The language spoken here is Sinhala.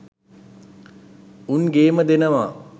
උන් ගේම දෙනවා